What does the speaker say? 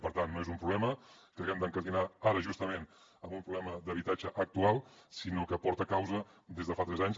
per tant no és un problema que haguem d’incardinar ara justament amb un problema d’habitatge actual sinó que porta causa des de fa tres anys